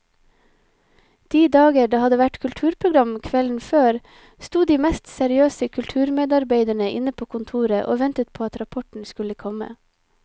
De dager det hadde vært kulturprogram kvelden før, sto de mest seriøse kulturmedarbeidere inne på kontoret og ventet på at rapporten skulle komme.